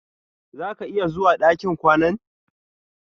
Zà ka iya zuwa ɗakin kwanan?